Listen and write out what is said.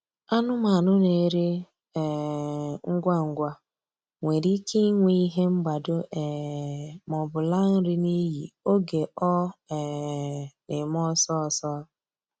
Anụmanụ na-eri um ngwa ngwa nwere ike inwe ihe mgbado um maọbụ laa nri n'iyi oge ọ um na-eme ọsọ ọsọ.